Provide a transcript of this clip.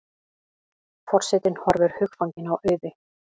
Forsetinn horfir hugfanginn á Auði.